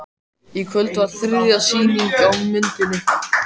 Í kvöld var þriðja sýning á myndinni